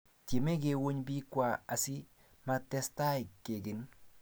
Tiemei kouny biikwa asi makitestai kekin